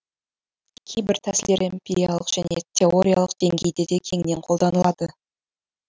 кейбір тәсілдер эмпириялық және теориялық деңгейде де кеңінен қолданылады